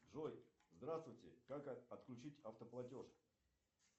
джой здравствуйте как отключить автоплатеж